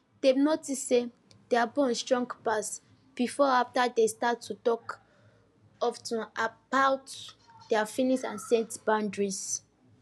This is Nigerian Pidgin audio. dem notice say their bond strong pass before after dem start to talk of ten about their feelings and set boundaries